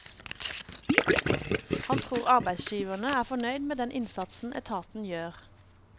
Han tror arbeidsgiverne er fornøyd med den innsatsen etaten gjør.